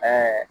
Ɛɛ